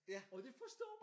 Og de forstår mig!